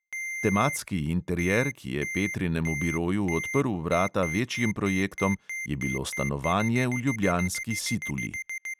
Tematski interier, ki je petrinemu biroju odprl vrata večjim projektom, je bilo stanovanje v ljubljanski situli.